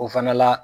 O fana la